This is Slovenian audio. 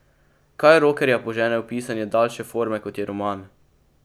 Kaj rokerja požene v pisanje daljše forme kot je roman?